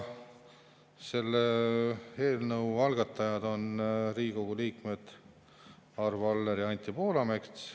Selle eelnõu algatajad on Riigikogu liikmed Arvo Aller ja Anti Poolamets.